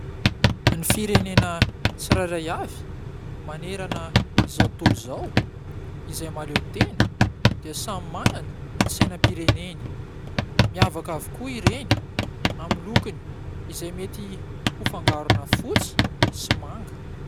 Ny firenena tsirairay avy manerana izao tontolo izao izay mahaleo tena dia samy manana ny sainam-pireneny. Miavaka avokoa ireny amin'ny lokony, izay mety ho fangarona fotsy sy manga.